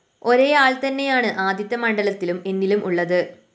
ഒരേ ആള്‍ തന്നെയാണ് ആദിത്യമണ്ഡലത്തിലും എന്നിലും ഉള്ളത്